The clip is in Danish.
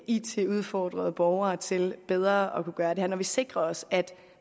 it udfordrede borgere til bedre at kunne gøre det her når vi sikrer os at